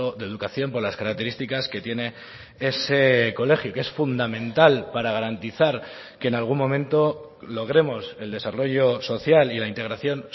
de educación por las características que tiene ese colegio que es fundamental para garantizar que en algún momento logremos el desarrollo social y la integración